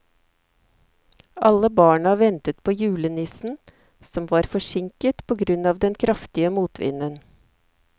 Alle barna ventet på julenissen, som var forsinket på grunn av den kraftige motvinden.